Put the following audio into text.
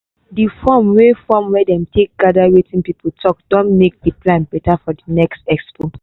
the form wey form wey dem take gather wetin people talk don make di plan better for di next expo.